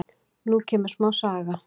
Nú kemur smá saga.